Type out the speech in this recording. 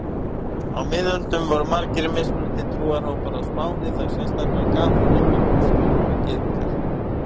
Á miðöldum voru margir mismunandi trúarhópar á Spáni, þá sérstaklega kaþólikkar, múslímar og gyðingar.